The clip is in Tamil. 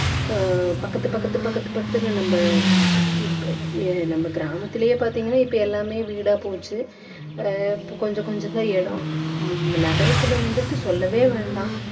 ஆஹ் பக்கத்து பக்கத்து பக்கத்து பக்கத்துல நம்ம நம்ம கிராமத்துலயே பார்த்தீங்கன்னா இப்போ எல்லாமே வீடா போச்சு ஆஹ் இப்போ கொஞ்சம் கொஞ்சம் தான் இடம் ஹம் நகரத்துல வந்துட்டு சொல்லவே வேண்டாம்